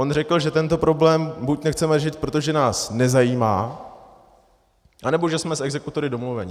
On řekl, že tento problém buď nechceme řešit, protože nás nezajímá, anebo že jsme s exekutory domluveni.